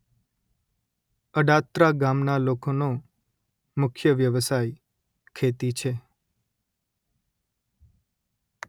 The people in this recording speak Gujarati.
અડાત્રા ગામના લોકોનો મુખ્ય વ્યવસાય ખેતી છે